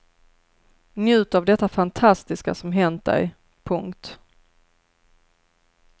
Njut av detta fantastiska som hänt dig. punkt